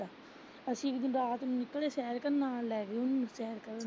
ਅਸੀਂ ਇੱਕ ਦਿਨ ਰਾਤ ਨੂੰ ਨਿਕਲੇ ਸੈਰ ਕਰਨ ਨਾਲ ਲੈ ਗਏ ਉਹਨੂੰ ਸੈਰ ਕਰਨ।